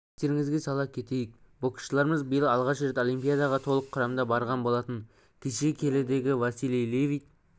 естеріңізге сала кетейік боксшыларымыз биыл алғаш рет олимпиадаға толық құрамда барған болатын кеше келідегі василий левит